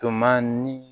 Toma ni